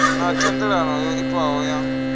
na thendelano yo itwaho ya